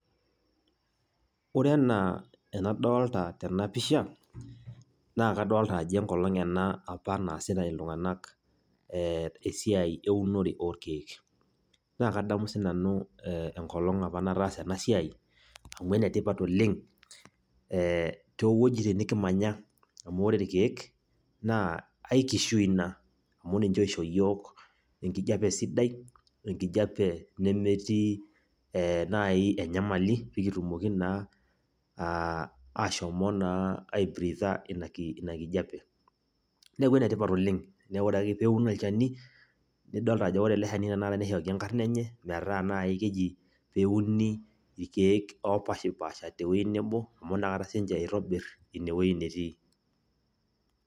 Ore enaa enadolta tenapisha, naa kadolta ajo enkolong apa naasita iltung'anak esiai eunore orkeek. Na kadamu sinanu enkolong apa nataasa enasiai, amu enetipat oleng, towueiting nikimanya, amu ore irkeek, naa ai kishui ina. Amu ninche oisho yiok enkijape sidai, enkijape nemetii nai enyamali, pikitumoki naa ashomo naa aibriitha inakijape. Neeku enetipat oleng. Neeku ore ake peun olchani, nidolta ajo ore ele shani tanakata nishoki enkarna enye, metaa nai keji peuni irkeek opashipasha tewoi nebo, amu nakata sinche itobir inewoi netii.